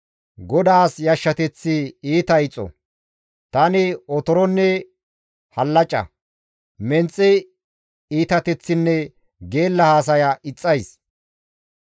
Godaas yashshateththi iita ixo; tani otoronne hallaca, menxe iitateththinne geella haasaya ixxays.